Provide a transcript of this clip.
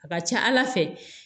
A ka ca ala fɛ